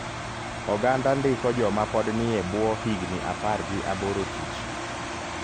Oganda ndiko joma pod nie buo higni apar gi aboro tich.